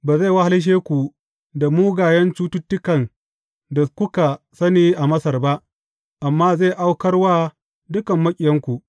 Ba zai wahalshe ku da mugayen cututtukan da kuka sani a Masar ba, amma zai aukar wa dukan maƙiyanku.